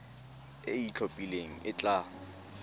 e e itlhophileng e tla